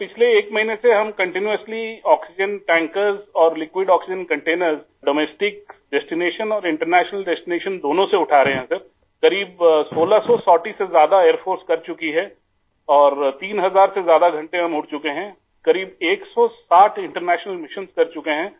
sir पिछले एक महीने से हम कंटीन्यूअसली आक्सीजेन टैंकर्स और liquid oxygen containers domestic destination और इंटरनेशनल डेस्टिनेशन दोनों से उठा रहे हैं सर आई क़रीब 1600 सॉर्टीज से ज्यादा एयर फोर्स कर चुकी है और 3000 से ज्यादा घंटे हम उड़ चुके हैं आई क़रीब 160 इंटरनेशनल मिशन्स कर चुके हैं